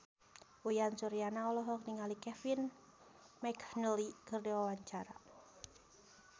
Uyan Suryana olohok ningali Kevin McNally keur diwawancara